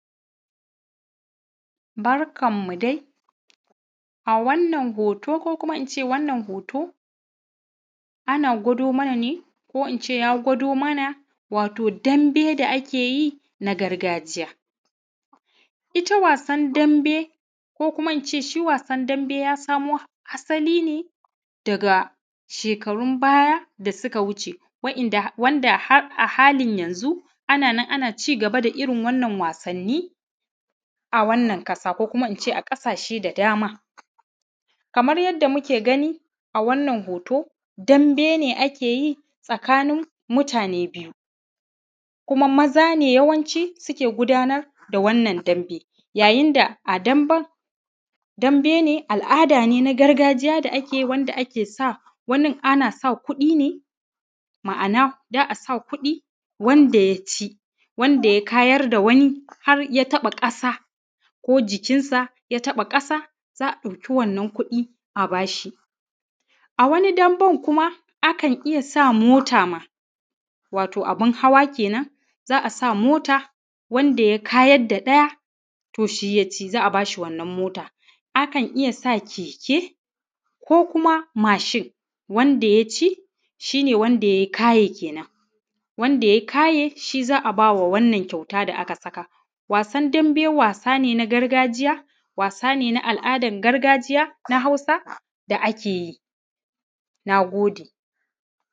Barkanmu dai a wannan hoto ko kuma nace wannan hoto ana gwado mana ne ko ɗin ce ya gwado mana wato ɗanbe da ake yin a gargajiya, ita wasan ɗanbe ko kuma in ce shi wasan ɗanbe ya samo asali ne daga shekarun baya da suka wuce, wanda a halin yanzu ana cigaba da irin wannan wasanni a wannan ƙasa ko kuma nace a ƙasashe da dama, kamar yadda muke gani a wannan hoto ɗanbe ne ake yi tsakanin mutane biyu kuma maza ne yawanci suke gudanar da wannan ɗanbe yayin da a ɗanben ɗanbe ne al’ada ne na gargajiya da ake yi wanda ake sa ana sa kuɗi ne ma’ana za a sa kuɗi wanda ya ci, wanda ya kayar da wani har ya taɓa kasa za a ɗauki wannan kuɗin a ba shi. A wani ɗanben kuma a kan iya sa mota ma wato abin hawa kenan, za a sa mota wanda ya kayar da ɗaya to shi ya ci, za a ba shi wannan mota, akan iya sa keke ko kuma mashin wanda ya ci shi ne wanda ya yi kaye kenan wanda ya yi kaye shi za a ba wa wannan kyauta da aka saka, wasan ɗanbe wasa ne na gargajiya wasa ne na al’adan gargajiya na Hausa da ake yi, na gode.